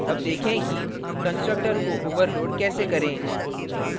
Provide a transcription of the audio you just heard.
अब देखें कि constructor को overload कैसे करें